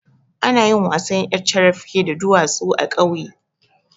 Anayin wasan ƴar carafke da duwatsu a ƙauye